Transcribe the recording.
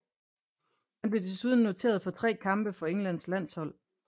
Han blev desuden noteret for tre kampe for Englands landshold